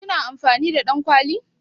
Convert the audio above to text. Ki na amfani da ɗankwali?